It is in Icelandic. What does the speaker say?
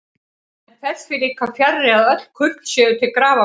Enn fer því líka fjarri, að öll kurl séu til grafar komin.